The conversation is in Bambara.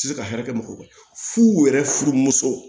Se ka hɛrɛ mɔgɔ fu yɛrɛ furumusow